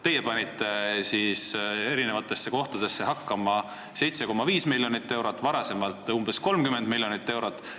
Teie panite eri kohtadesse hakkama 7,5 miljonit eurot, varem umbes 30 miljonit eurot.